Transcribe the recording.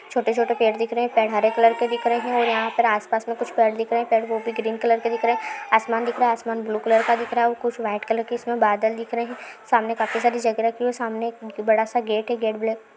छोटे-छोटे पेड़ दिख रहे हैं पेड़ हरे कलर के दिख रहे हैं और यहाँ पर आसपास में कुछ पेड़ दिख रहे हैं पेड़ वो भी ग्रीन कलर के दिख रहे हैं आसमान दिख रहा है आसमान ब्लू कलर का दिख रहा है और कुछ वाईट कलर के बादल दिख रहे हैं सामने काफी सारी जगह रखी है सामने एक बड़ा-सा गेट है गेट ब्लैक --